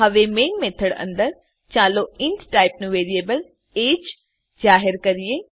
હવે main method અંદર ચાલો ઇન્ટ ટાઈપનું વેરીએબલ એજીઇ જાહેર કરીએ